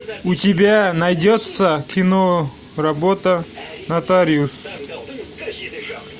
у тебя найдется кино работа нотариус